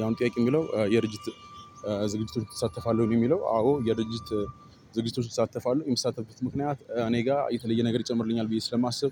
ያው እግዲህ ጥያቄው የሚለው የድርጅት ዝግጅቱን ትሳተፋለህ ወይ? ነው የሚለው። አዎ የድርጅት ዝግጅቶችን እሳተፋለሁ የምሳተፍበት ምክንያት እኔ ጋር የተለየ ነገር ይጨምርልኛል ብዬ ስለማስብ